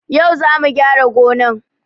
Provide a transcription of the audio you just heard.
Yau zamu gyara gonan